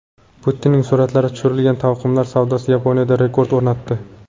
Putinning suratlari tushirilgan taqvimlar savdosi Yaponiyada rekord o‘rnatdi.